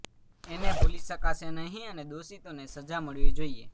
એને ભૂલી શકાશે નહીં અને દોષિતોને સજા મળવી જોઇએ